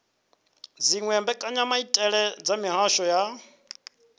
dziwe mbekanyamaitele dza mihasho ya